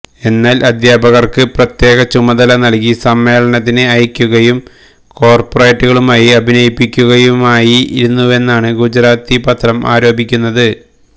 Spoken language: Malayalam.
എന്നാല് അധ്യാപകര്ക്ക് പ്രത്യേക ചുമതല നല്കി സമ്മേളനത്തിന് അയയ്ക്കുകയും കോര്പ്പറേറ്റുകളായി അഭിനയിപ്പിക്കുകയുമായിരുന്നുവെന്നാണ് ഗുജറാത്തി പത്രം ആരോപിക്കുന്നത്